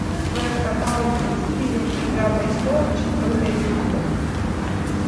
в твоем каталоге есть фильм игра престолов четвертый эпизод